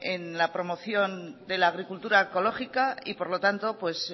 en la promoción de la agricultura ecológica y por lo tanto